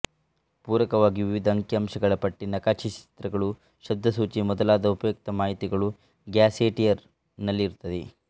ಪೂರಕವಾಗಿ ವಿವಿಧ ಅಂಕಿ ಅಂಶಗಳ ಪಟ್ಟಿ ನಕಾಶೆ ಚಿತ್ರಗಳು ಶಬ್ದಸೂಚಿ ಮೊದಲಾದ ಉಪಯುಕ್ತ ಮಾಹಿತಿಗಳು ಗ್ಯಾಸೆಟಿಯರ್ ನಲ್ಲಿರುತ್ತವೆ